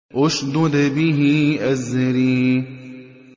اشْدُدْ بِهِ أَزْرِي